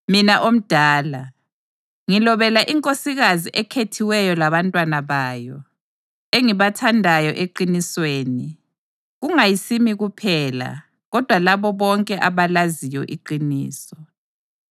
Mina omdala, Ngilobela inkosikazi ekhethiweyo labantwana bayo, engibathandayo eqinisweni, kungayisimi kuphela, kodwa labo bonke abalaziyo iqiniso,